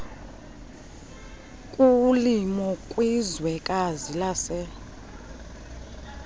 kulimo kwizwekazi lase